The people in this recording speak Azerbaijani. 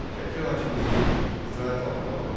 Şəki hakimliyini itaət altına alındı.